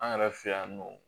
An yɛrɛ fɛ yan nɔ